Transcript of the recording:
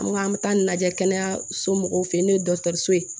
An ko an bɛ taa lajɛ kɛnɛyaso mɔgɔw fe yen n'o ye dɔgɔtɔrɔso ye